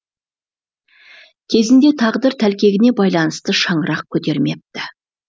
кезінде тағдыр тәлкегіне байланысты шаңырақ көтермепті